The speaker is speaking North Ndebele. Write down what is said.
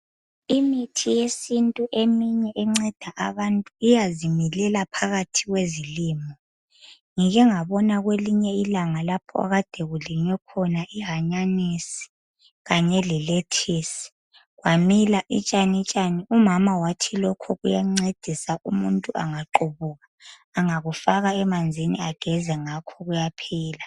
Imithi yesintu eminye enceda abanye iyazimilela phakathi kwezilimo. Ngike ngabona kwelinye ilanga lapho ekade kulinywe khona ihanyanisi le lettuce . Kwamila itshanitshani , umama wathi kuyancedisa umuntu angaqubuka. Angakufaka emanzini ageze ngakho kuyaphela.